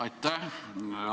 Aitäh!